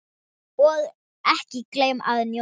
Og ekki gleyma að njóta.